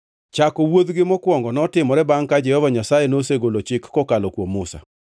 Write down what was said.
Chako wuodhgi mokwongo notimore bangʼ ka Jehova Nyasaye nosegolo chik kokalo kuom Musa.